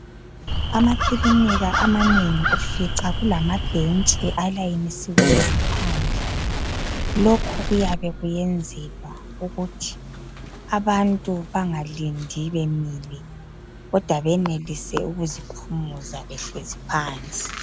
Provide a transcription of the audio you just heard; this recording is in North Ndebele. Amakilinika amanengi ufica kulamabhentshi alayinisiweyo ngaphandle lokho kuyabe kuyenzelwa ukuthi abantu bengalindi bemile, kodwa benelise ukuziphumuza behlezi phansi.